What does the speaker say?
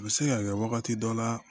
U bɛ se ka kɛ wagati dɔ la